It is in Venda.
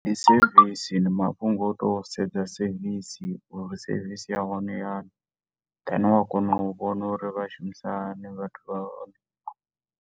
Ndi sevisi, ndi mafhungo a u to sedza sevisi uri sevisi ya hone i hani, then wa kona u vhona uri vha shumisa hani vhathu vha hone.